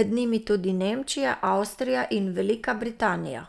med njimi tudi Nemčija, Avstrija in Velika Britanija.